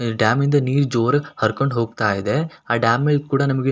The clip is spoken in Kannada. ಇಲ್ ಡ್ಯಾಮ್ ಇಂದ ನೀರು ಜೋರಾಗಿ ಹರ್ಕೊಂಡು ಹೋಗ್ತಾ ಇದೆ ಆ ಡ್ಯಾಮ್ ಇದ್ ಕೂಡ ನಿಮಗೆ--